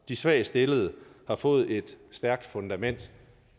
de svagt stillede har fået et stærkt fundament